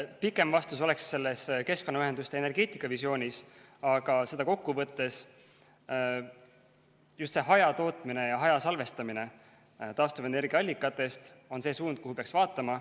Pikem vastus oleks selles keskkonnaühenduste energeetikavisioonis, aga seda kokku võttes: just see hajatootmine ja hajasalvestamine taastuvenergia allikatest on see suund, kuhu peaks vaatama.